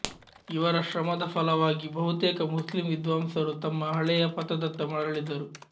ಇವರ ಶ್ರಮದ ಫಲವಾಗಿ ಬಹುತೇಕ ಮುಸ್ಲಿಂ ವಿದ್ವಾಂಸರು ತಮ್ಮ ಹಳೆಯ ಪಥದತ್ತ ಮರಳಿದರು